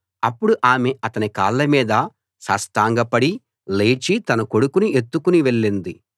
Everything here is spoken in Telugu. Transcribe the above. అప్పుడు ఆమె అతని కాళ్ల మీద సాష్టాంగపడి లేచి తన కొడుకుని ఎత్తుకుని వెళ్ళింది